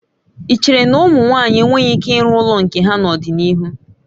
Ị chere na ụmụ nwaanyị enweghị ike ịrụ ụlọ nke ha n'ọdịnihu?